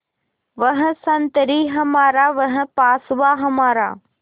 वह संतरी हमारा वह पासबाँ हमारा